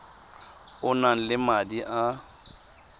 o nang le madi a